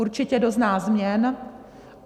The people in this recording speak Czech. Určitě dozná změn.